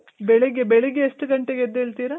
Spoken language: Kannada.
ಬೆಳಿಗ್ಗೆ ಬೆಳಿಗ್ಗೆ ಎಷ್ಟು ಘಂಟೆಗೆ ಎದ್ದೆಳ್ತೀರ?